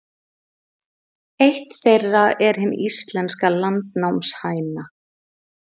Eitt þeirra er hin íslenska landnámshæna.